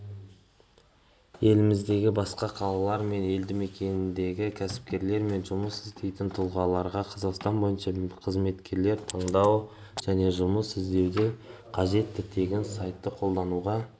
еліміздегі басқа қалалар мен елдімекендердегі кәсіпкерлер мен жұмыс іздейтін тұлғаларға қазақстан бойынша қызметкерлер таңдау және жұмыс іздеуде қажетті тегін сайтты қолдануға